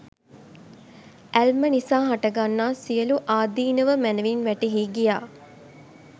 ඇල්ම නිසා හටගන්නා සියළු ආදීනව මැනැවින් වැටහී ගියා